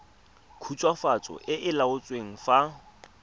khutswafatso e e laotsweng fa